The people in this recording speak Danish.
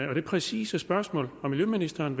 det præcise spørgsmål om miljøministeren